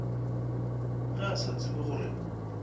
ge a sa tsebe gore